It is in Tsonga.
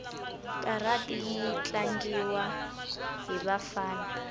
karati yitlangiwa hhivafana